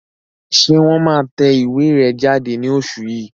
Ṣé wọ́n máa tẹ ìwé rẹ̀ jáde ní oṣù yìí?